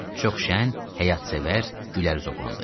Çox şən, həyatsevər, gülərüz oğlan idi.